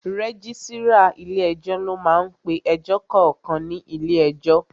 Rẹ́gísírà ilé ẹjọ́ ló máá ń pe ẹjọ́ kankan ní ilé ẹjọ́